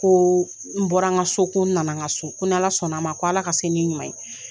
Ko n bɔra n ka so ko n nana n ka so ko ni ALA sɔnna a ma ko ALA ka se ni n ɲuman ye.